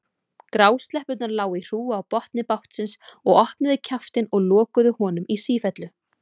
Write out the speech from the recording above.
Grásleppurnar lágu í hrúgu á botni bátsins og opnuðu kjaftinn og lokuðu honum í sífellu.